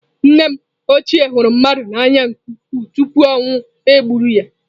Nne m ochie hụrụ mmadụ n'anya nke ukwuu tupu ọnwụ eburu ya.